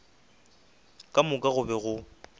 ka moka go be go